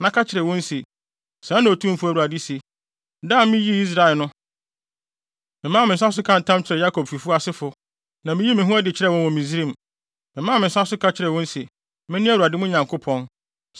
na ka kyerɛ wɔn se: ‘Sɛɛ na Otumfo Awurade se: Da a miyii Israel no, memaa me nsa so kaa ntam kyerɛɛ Yakobfi asefo, na miyii me ho adi kyerɛɛ wɔn wɔ Misraim. Memaa me nsa so ka kyerɛɛ wɔn se, “Mene Awurade, mo Nyankopɔn.”